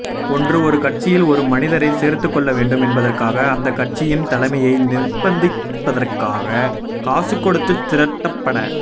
ஒன்று ஒரு கட்சியில் ஒரு மனிதரை சேர்த்துக்கொள்ள வேண்டும் என்பதற்காக அந்தக் கட்சியின் தலைமையை நிர்ப்பந்திப்பதற்காக காசு கொடுத்துத் திரட்டப